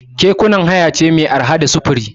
Kekuna hanya ce mai arha ta sufuri.